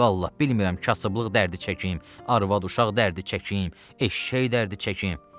Vallah, bilmirəm kasıblıq dərdi çəkim, arvad uşaq dərdi çəkim, eşşək dərdi çəkim.